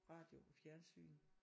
Radio og fjernsyn